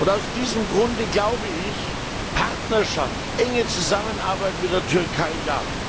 Aus diesem Grunde glaube ich, Partnerschaft, enge Zusammenarbeit mit der Türkei Ja.